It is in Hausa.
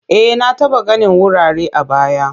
E, na taba ganin wurare a baya.